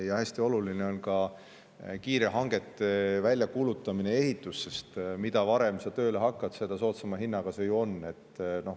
Ja hästi oluline on ka kiire hangete väljakuulutamine ja ehitus, sest mida varem sa tööle hakkad, seda soodsama hinnaga see ju tuleb.